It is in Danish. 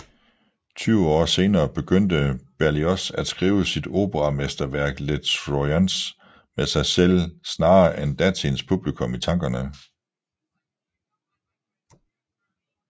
Tyve år senere begyndte Berlioz at skrive sit operamesterværk Les Troyens med sig selv snarere end datidens publikum i tankerne